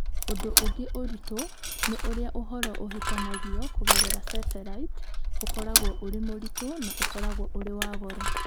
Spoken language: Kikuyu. Ũndũ ũngĩ ũritũ nĩ ũrĩa ũhoro ũhĩtanagio kũgerera Satellite ũkoragwo ũrĩ mũritũ na ũkoragwo ũrĩ wa goro.